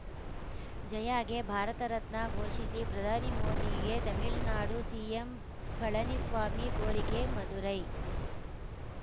ಜಯಾಗೆ ಭಾರತ ರತ್ನ ಘೋಷಿಸಿ ಪ್ರಧಾನಿ ಮೋದಿಗೆ ತಮಿಳ್ನಾಡು ಸಿಎಂ ಪಳನಿಸ್ವಾಮಿ ಕೋರಿಕೆ ಮದುರೈ